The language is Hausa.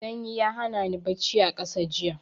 Sanyi ya hana ni bacci a ƙasa jiya.